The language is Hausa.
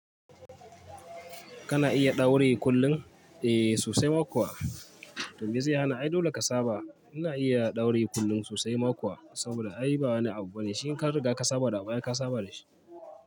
Kana iya dauri kullun? Eh sosai ma kuwa. To mai zai hana, ai dole ka saba. Ina iya daure kullum sosai mako, saboda ai ba wani abu bane. Tin ka riga ka saba da abu ai ka saba da shi?